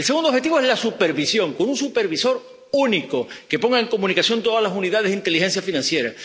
El segundo objetivo es la supervisión, con un supervisor único que ponga en comunicación todas las unidades de información financiera.